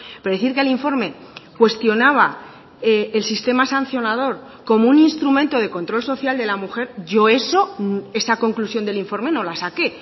pero decir que el informe cuestionaba el sistema sancionador como un instrumento de control social de la mujer yo eso esa conclusión del informe no la saqué